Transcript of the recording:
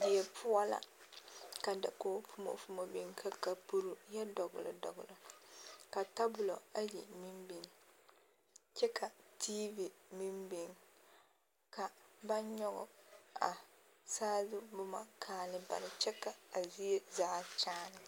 Die poɔ ka dakog fumofumo biŋ ka kapuru yɛ dogli dogli ka tabolɔ ayi meŋ biŋ kyɛ ka tiivi meŋ biŋ ka ba nyɔge a saazu boma kaali bare kyɛ ka a zie zaa kyaane.